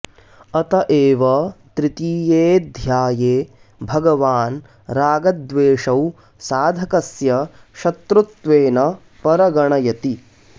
अत एव तृतीयेऽध्याये भगवान् रागद्वेषौ साधकस्य शत्रुत्वेन परगणयति